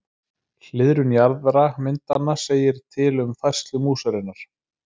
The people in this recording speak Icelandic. Hliðrun jaðra myndanna segir til um færslu músarinnar.